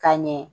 Ka ɲɛ